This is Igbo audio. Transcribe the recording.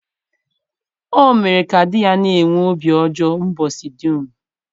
O mere ka di ya na-enwe obi ọjọọ ụbọchị dum.